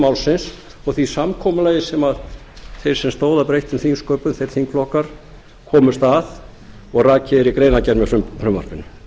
málsins og því samkomulagi sem þeir sem stóðu að breyttum þingsköpum þeir þingflokkar komust að og rakið er í greinargerð með frumvarpinu